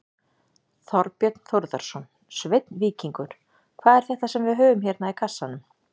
Þorbjörn Þórðarson: Sveinn Víkingur, hvað er þetta sem við höfum hérna í kassanum?